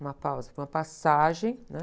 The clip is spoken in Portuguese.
Uma pausa, uma passagem, né?